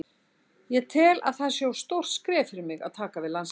Ég tel að það sé of stórt skref fyrir mig að taka við landsliðinu.